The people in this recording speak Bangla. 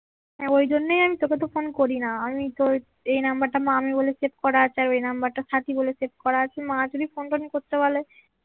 হ্যাঁ ওই জন্য আমি তোকে তো আমি ফোন করিনা আমি তো এই নাম্বারটা মামি বলে সেভ করা আছে আর ওই নাম্বারটা সাথী বলেছে করা আছে মা যদি ফোন টোন করতে বলে এখন তাহলে